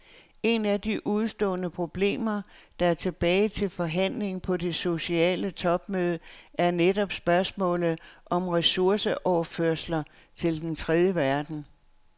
Et af de udestående problemer, der er tilbage til forhandling på det sociale topmøde, er netop spørgsmålet om ressourceoverførsler til den tredje verden.